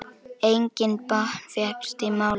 Enginn botn fékkst í málið.